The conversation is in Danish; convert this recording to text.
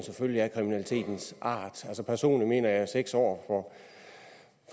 af kriminalitetens art personligt mener jeg at seks år